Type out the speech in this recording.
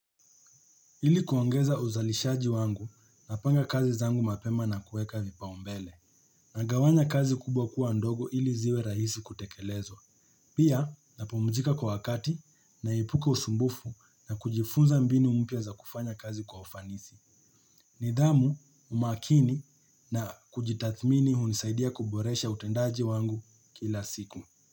Ili kuongeza uzalishaji wangu napanga kazi zangu mapema na kueka vipaumbele na gawanya kazi kubwa kuwa ndogo ili ziwe rahisi kutekelezwa. Pia napumzika kwa wakati naepuka usumbufu na kujifunza mbini umpya za kufanya kazi kwa ufanisi. Nidhamu umakini na kujitathmini hunisaidia kuboresha utendaji wangu kila siku.